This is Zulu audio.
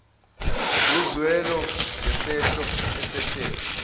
uzwelo ngesehlo esehlele